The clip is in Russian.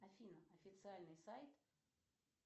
афина официальный сайт